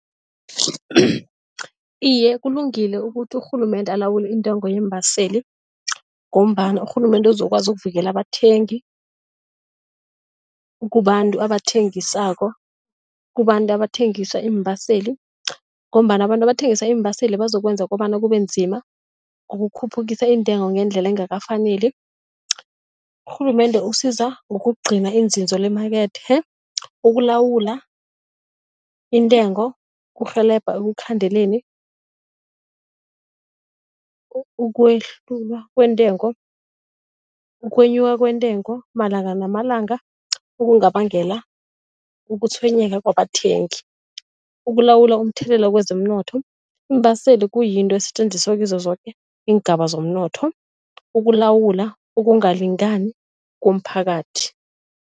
Iye, kulungile ukuthi urhulumende alawule intengo yeembaseli ngombana urhulumende uzokwazi ukuvikela abathengi kubantu abathengisako kubantu abathengisa iimbaseli ngombana abantu abathengisa iimbaseli bazokwenza kobana kubenzima ukukhuphukisa iintengo ngendlela engakafaneli. Urhulumende usiza ngokugcina iinzinzo lemakethe, ukulawula intengo kurhelebha ekukhandeleni ukwehluka kwentengo, ukwenyuka kwentengo malanga namalanga okungabangela ukutshwenyeka kwabathengi, ukulawula umthelela kwezomnotho. Iimbaseli kuyinto esetjenziswa kizo zoke iingaba zomnotho, ukulawula, ukungalingani komphakathi.